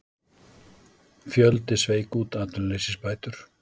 Fjöldi sveik út atvinnuleysisbætur